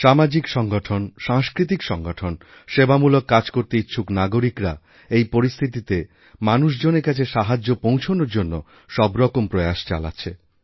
সামাজিক সংগঠন সাংস্কৃতিক সংগঠন সেবামূলক কাজ করতে ইচ্ছুক নাগরিকরা এইপরিস্থিতিতে মানুষজনের কাছে সাহায্য পৌঁছনোর জন্য সবরকম প্রয়াস চালাচ্ছে